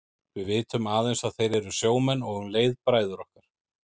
Við vitum aðeins að þeir eru sjómenn og um leið bræður okkar.